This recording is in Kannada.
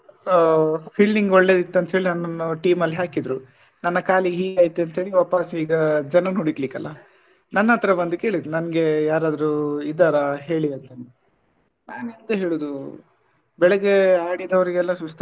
ಆ fielding ಒಳ್ಳೆ ಇತ್ತು ಅಂತ ಹೇಳಿ ನನ್ನನ್ನು team ಅಲ್ಲಿ ಹಾಕಿದ್ರು ನನ್ನ ಕಾಲಿಗೆ ಹೀಗ್ ಆಯ್ತು ಅಂತೇಳಿ ವಾಪಸ್ ಈಗ ಜನನ್ನು ಹುಡುಕ್ಲಿಕ್ಕಲ್ಲ ನನ್ನತ್ರ ಬಂದು ಕೇಳಿದ್ರು ನಂಗೆ ಯಾರಾದ್ರೂ ಇದ್ದಾರ ಹೇಳಿ ಅಂತಂದ್ ನಾನ್ ಎಂತ ಹೇಳುದು ಬೆಳ್ಳಿಗೆ ಆಡಿದವ್ರೀಗೆ ಎಲ್ಲ ಸುಸ್ತ್.